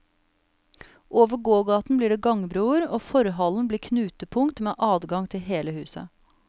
Over gågaten blir det gangbroer, og forhallen blir knutepunkt, med adgang til hele huset.